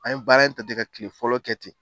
A ye baara in ta ten ka kile fɔlɔ kɛ ten